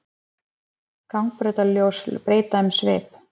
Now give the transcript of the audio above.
Gangbrautarljós breyta um svip